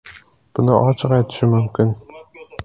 Buni ochiq aytishim mumkin.